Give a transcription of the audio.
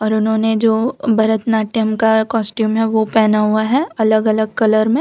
उन्होंने जो भरतनाट्यम का कॉस्ट्यूम है वो पहना हुआ है अलग अलग कलर में